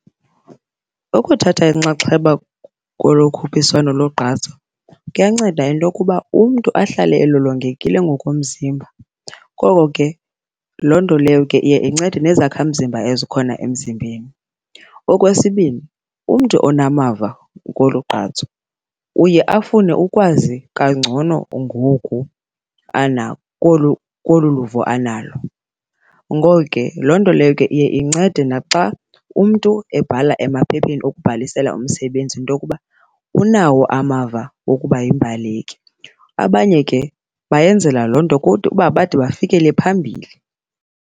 Ukuthatha inxaxheba kolu khuphiswano logqatso kuyanceda into okuba umntu ahlale elolongekile ngokomzimba. Ngoko ke loo nto leyo ke iye incede nezakhamzimba ezikhona emzimbeni. Okwesibini, umntu onamava kolu gqatso uye afune ukwazi kangcono ngoku kolu luvo analo. Ngoko ke loo nto leyo ke iye incede naxa umntu ebhala emaphepheni okubhalisela umsebenzi into okuba unawo amava wokuba yimbaleki. Abanye ke bayenzela loo nto uba bade bafikele phambili.